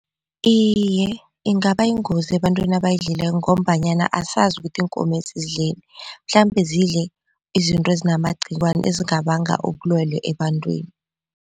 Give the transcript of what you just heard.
Iye, ingaba yingozi ebantwini abayidlileko ngombanyana asazi ukuthi iinkomezi zidleni mhlambe zidle izinto ezinamagqiwane ezingabanga ubulwele ebantwini.